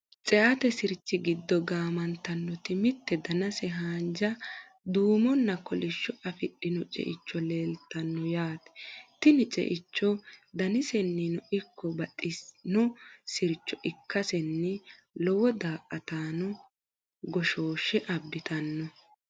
ceate sirchi giddo gaamantannoti mitte danase haanja, duumonna, kolishsho afidhino ceicho leeltanno yaate. tini ceicho danisenninno ikko baxxino sircho ikkasenni lowo daa''ataano goshooshshe abbitanno.